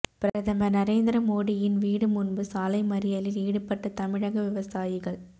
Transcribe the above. பிரதமர் நரேந்திர மோடியின் வீடு முன்பு சாலைமறியலில் ஈடுபட்ட தமிழக விவசாயிகள்